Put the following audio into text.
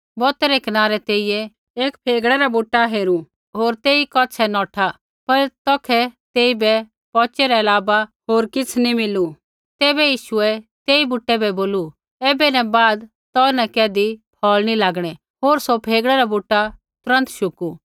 बौतै रै कनारै तेइयै एक फेगड़े रा बुटा हेरू होर तेई कौछ़ै नौठा पर तौखै तेइबै पौचै रै अलावा होर किछ़ नी मिलू तैबै यीशुऐ तेई बुटै बै बोलू ऐबै न बाद तौ न कैधी फ़ौल़ नी लागणै होर सौ फेगड़े रा बूटा तुरन्त शुकू